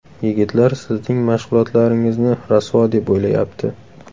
Yigitlar sizning mashg‘ulotlaringizni rasvo deb o‘ylayapti’.